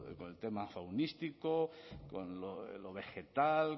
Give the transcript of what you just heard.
con el tema faunístico con lo vegetal